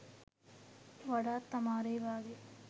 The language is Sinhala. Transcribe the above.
වඩාත් අමාරුයි වගේ.